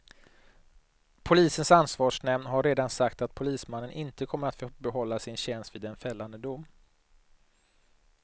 Polisens ansvarsnämnd har redan sagt att polismannen inte kommer att få behålla sin tjänst vid en fällande dom.